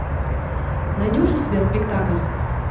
найдешь у себя спектакль